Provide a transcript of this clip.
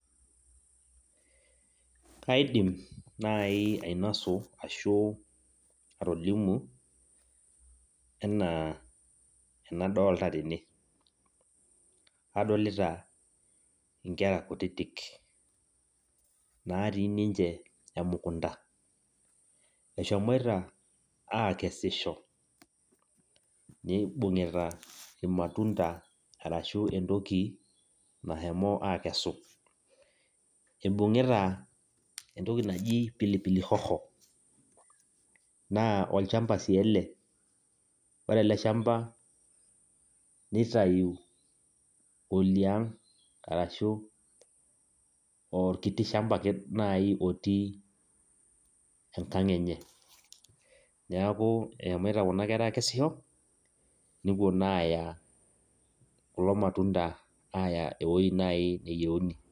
Kaidim nai ainosu ashu atolimu enaa enadolta tene. Adolita inkera kutitik, natii ninche emukunda. Eshomoita aakesisho, nibung'ita irmatunda arashu entoki nashomo akesu. Ibung'ita entoki naji pilipili hoho. Naa olchamba si ele. Ore ele shamba nitayu oliang', arashu orkiti shamba ake otii enkang' enye. Neeku eshomoita kuna kera akesisho, nepuo naa aya kulo matunda aya ewoi nai neyieuni.